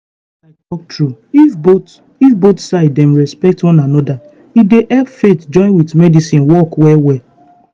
make i talk true if both if both side dem respect one anoda e dey help faith join with medicine work well well.